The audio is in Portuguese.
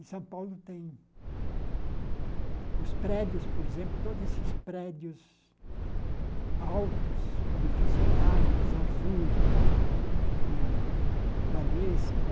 E São Paulo tem os prédios, por exemplo, todos esses prédios altos, o Edifício Itália, o Zarzur, o Banespa,